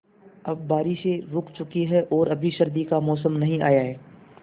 अब बारिशें रुक चुकी हैं और अभी सर्दी का मौसम नहीं आया है